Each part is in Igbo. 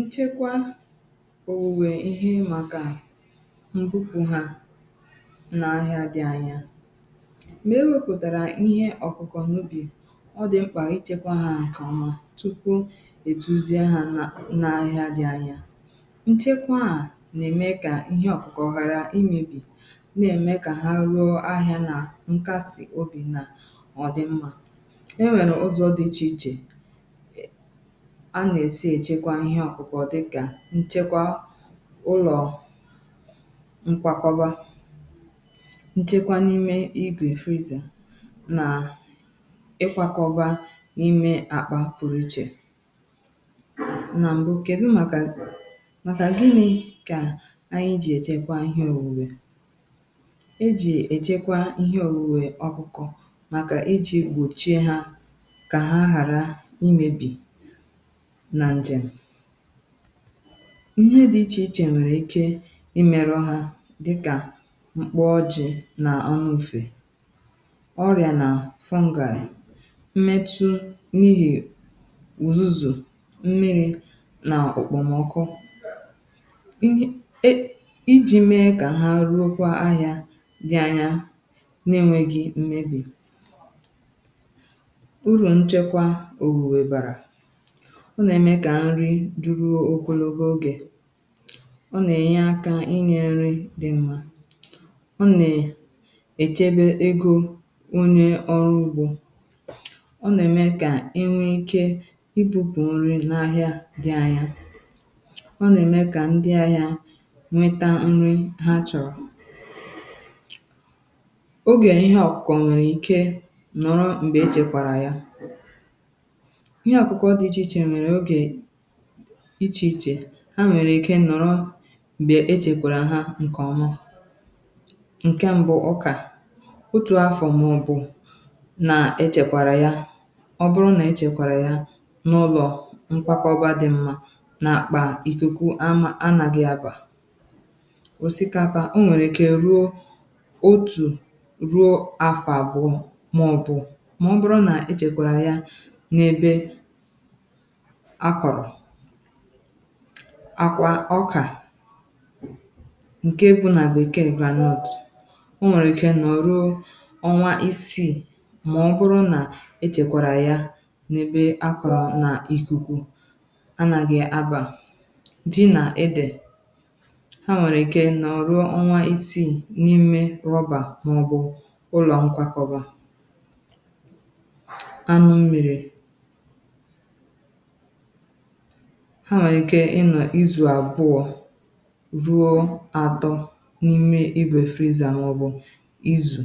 nchekwa owuwe ihe màkà mbupu ha n’ahìà dị anya mee wepụtara ihe ọkụkọ n’ubi ọ dị mkpà ichekwa ha nke ọma tupu etuzi ha n’ahìà dị anya nchekwa a na-eme ka ihe ọkụkọ ghara imebi na-eme ka ha ruo ahìà na nkasi obi nà ọ dị mma e nwèrè ụzọ dị iche iche m̀ nchekwa ụlọ mkwakọba nchekwa na-ime ịgwè freezer na-ikwakọba n’ime àkpà pụ̀rụ̀chè na mbụ um kèdụ màkà màkà dini kà anyị jì èchekwa ihe òwùwè e jì èchekwa ihe òwùwè ọbụkọ̀ màkà e jì gbòchie ha kà ha ghàra imėbì ihe dị ichè ichè nwèrè ike imeru ha dịkà mkpọ̀ ojì nà anụfe ọrịà nà fungal mmetụ n’ihì uzù mmiri nà okpomọkụ iji mee kà ha ruokwa ahìà dị anya na-enweghi mmebi duru okologo ogè ọ nà-ènye akȧ inyė nri̇ dị mmà ọ nà-èchebe egȯ onye ọrụ ugbȯ ọ nà-ème kà enwėike ibupù nrì n’ahìà dị ahìà ọ nà-ème kà ndị ahìà nweta nri heart attack ogè ihe ọkụkọ ọ̀ nwèrè ike nọ̀rọ m̀gbè echèkwàrà yȧ ichè ichè ha nwèrè ike nọ̀rọ m̀gbè echèkwàrà ha ǹkèọ̀mù ǹkè m̀bụ ọkà otù afọ̀ màọbụ̀ nà echèkwàrà ya ọ bụrụ nà echèkwàrà ya n’ụlọ nkwakọgba dị̀ mmà nà àkpà ìkèkù anà gị̇ abà òsikapà o nwèrè ike ruo otù ruo afọ̀ àbụ̀ọ màọbụ̀ mà ọ bụrụ nà echèkwàrà ya n’ebe àkwà ọkà nkè ebu̇ nà bekee blanket o nwèrè ike nọ̀ ruo ọnwa isii mà ọ bụrụ nà echèkwàrà ya n’ebe akọ̀rọ̀ nà ikuku a nàghị̀ abà di nà edè ha nwèrè ike nọ̀ ruo ọnwa isii n’ime rọbà màọbụ̀ ụlọ nkwàkọ̀bà anụ̀mèrè ịzụ̀ abụọ̀ ruo atọ̀ n’ime ebe freezer màọbụ̀ ịzụ̀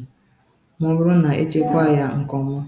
màọbụ̀rụ̀ nà echekwa yà nkọ̀ nwa